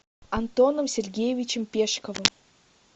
антоном сергеевичем пешковым